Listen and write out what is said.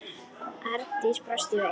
Arndís brosir veikt.